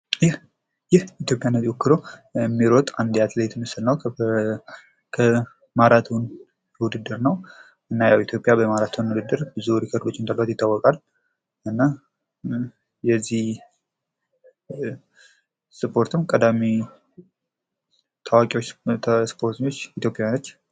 ይህ ኢትዮጵያን ወክሎ የሚሮጥ የአንድ አትሌት ምስል ነው። የማራቶን ውድድር ነው። እና ኢትዮጵያ በማራቶን ውድድር መሪ ነች።